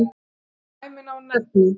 Sem dæmi má nefna